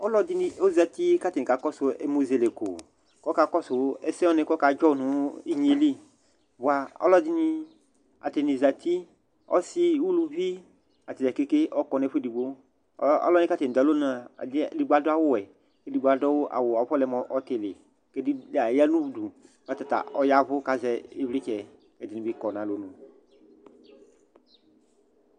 Ɔlɔdɩnɩ ɔzati kʋ atanɩ kakɔsʋ ɛmʋzɛlɛko kʋ ɔkakɔsʋ ɛsɛ wanɩ kʋ ɔkadzɔ nʋ inye yɛ li bʋa, ɔlɔdɩnɩ, atanɩ zati, ɔsɩ, uluvi, ata dza keke ɔkɔ nʋ ɛfʋ edigbo Ɔ alʋ wanɩ kʋ atanɩ dʋ alɔnu yɛ a, ɛdɩnɩ edigbo adʋ awʋwɛ kʋ edigbo adʋ awʋ, afɔlɛ mʋ ɔtɩlɩ kʋ edigb dza aya nʋ udu kʋ ɔta ta ɔya ɛvʋ kʋ azɛ ɩvlɩtsɛ Ɛdɩnɩ bɩ kɔ nʋ alɔnu